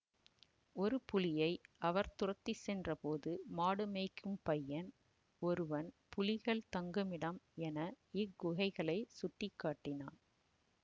ஒரு புலியை அவர் துரத்திச்சென்றபோது மாடுமேய்க்கும் பையன் ஒருவன் புலிகள் தங்குமிடம் என இக்குகைகளை சுட்டிக்காட்டினான்